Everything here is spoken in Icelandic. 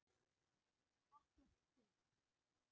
Ekkert hik.